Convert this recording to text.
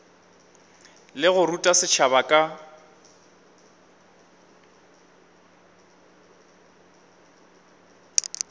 le go ruta setšhaba ka